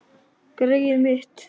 Greyið mitt